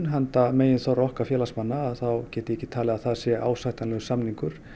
handa meginþorra okkar félagsmanna get ég ekki talið að það sé ásættanlegur samningur